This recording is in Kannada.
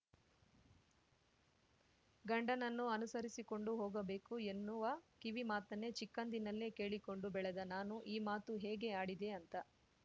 ಗಂಡನನ್ನು ಅನುಸರಿಸಿಕೊಂಡು ಹೋಗಬೇಕು ಎನ್ನುವ ಕಿವಿಮಾತನ್ನೇ ಚಿಕ್ಕಂದಿನಲ್ಲೇ ಕೇಳಿಕೊಂಡು ಬೆಳೆದ ನಾನು ಈ ಮಾತು ಹೇಗೆ ಆಡಿದೆ ಅಂತ